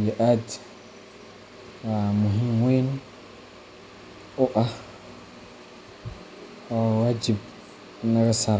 iyo aad muhim weyn u ah oo wajib inaga saran.